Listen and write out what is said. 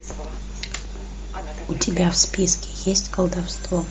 у тебя в списке есть колдовство